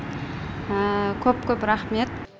көп көп рахмет